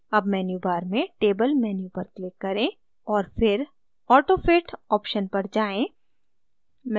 अब मेन्यूबार में table menu पर click करें और फिर autofit option पर जाएँ